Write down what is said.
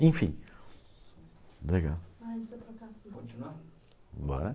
enfim, legal. Continuar? Bora.